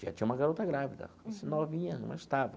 Já tinha uma garota grávida, assim novinha, mas estava.